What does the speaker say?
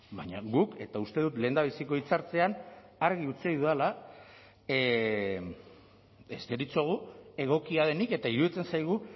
baina guk eta uste dut lehendabiziko hitz hartzean argi utzi dudala ez deritzogu egokia denik eta iruditzen zaigu